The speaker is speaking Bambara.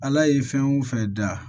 Ala ye fɛn o fɛn da